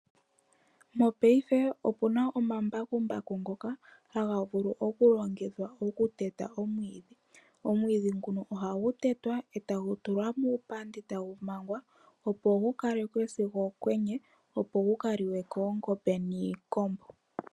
Mopaife opuna omambakumbaku ngoka taga vulu okulongithwa okuteta omwiidhi . Omwiidhi nguno ohagu tetwa etagu tulwa muupandi etagu mangwa opo gu kalekwe sigo omokwenye opo gu kaliwe koongombe niikombo.